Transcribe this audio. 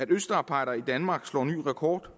østarbejdere i danmark slår ny rekord